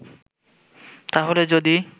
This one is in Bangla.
তাহলে যদি